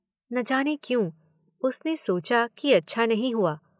न जाने क्यों, उसने सोचा कि अच्छा नहीं हुआ?